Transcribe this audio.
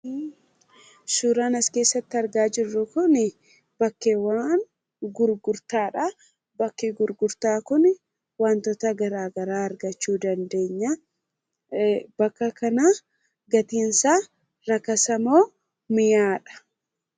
Suuraan as keessatti argaa jirru kunii bakkeewwan gurgurtaadhaa. Bakki gurgurtaa kuni wantoota garagaraa argachuu dandeenyaa. Bakka kanaa gatiinsaa rakasa moo mi'aadha?